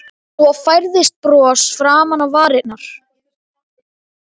Svo færðist bros fram á varirnar.